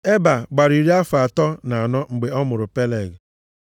Eba gbara iri afọ atọ na anọ mgbe ọ mụrụ Peleg.